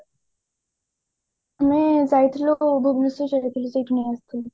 ମୁଁ ଯାଇଥିଲୁ ଭୁବନେଶ୍ବର ଯାଇଥିଲୁ ସେତୁ ନେଇ ଆସିଥିଲି